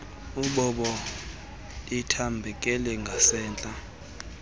mbobo ithambekele ngasemntla